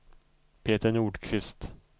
Peter Nordqvist